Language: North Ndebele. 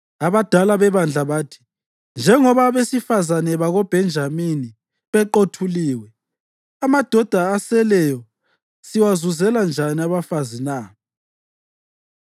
Abadala bebandla bathi, “Njengoba abesifazane bakoBhenjamini beqothuliwe, amadoda aseleyo siwazuzela njani abafazi na?